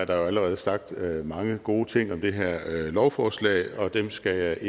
der er jo allerede sagt mange gode ting om det her lovforslag dem skal jeg